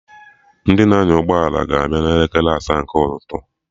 Ndị na-anya ụgbọ ala ga abịa na elekere asaa nke ụtụtụ